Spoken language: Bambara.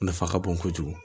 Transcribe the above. Nafa ka bon kojugu